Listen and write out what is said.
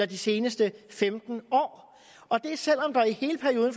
de seneste femten år og det er selv om der i hele perioden